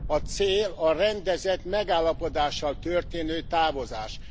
A cél a rendezett megállapodással történő távozás.